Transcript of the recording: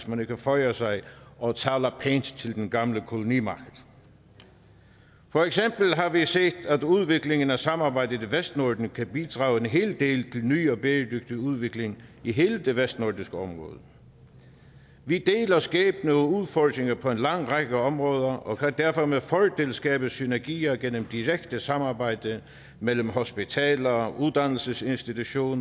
man føjer sig og taler pænt til den gamle kolonimagt for eksempel har vi set at udviklingen af samarbejdet i vestnorden kan bidrage en hel del til ny og bæredygtig udvikling i hele det vestnordiske område vi deler skæbne og udfordringer på en lang række områder og kan derfor med fordel skabe synergier gennem direkte samarbejde mellem hospitaler uddannelsesinstitutioner